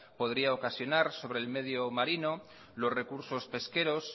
podría ocasionar sobre el medio marino los recursos pesqueros